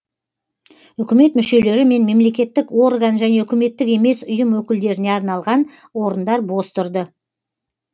үкімет мүшелері мен мемлекеттік орган және үкіметтік емес ұйым өкілдеріне арналған орындар бос тұрды